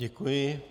Děkuji.